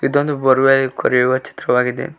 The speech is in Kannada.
ಇದೊಂದು ಬೋರ್ ವೆಲ್ ಕೊರೆಯುವ ಚಿತ್ರವಾಗಿದೆ.